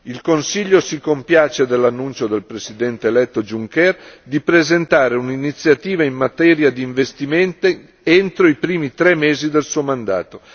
Il Consiglio si compiace dell'annuncio del presidente eletto Juncker di presentare un'iniziativa in materia di investimenti entro i primi tre mesi del suo mandato.